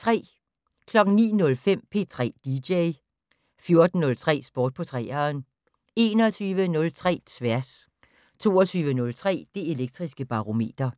09:05: P3 dj 14:03: Sport på 3'eren 21:03: Tværs 22:03: Det Elektriske Barometer